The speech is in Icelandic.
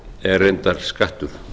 er reyndar skattur